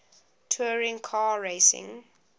touring car racing